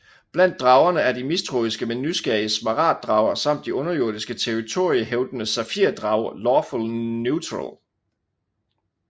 Blandt dragerne er de mistroiske men nysgerrige smaragd drager samt de underjordiske territoriehævdende safir drager Lawful Neutral